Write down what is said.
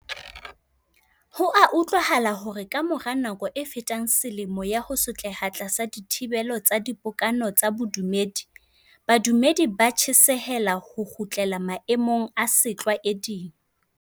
Ho a utlwahala hore ka mora nako e fetang selemo ya ho sotleha tlasa dithibelo tsa dipokano tsa bodumedi, badumedi ba tjhesehela ho kgutlela maemong a setlwa eding.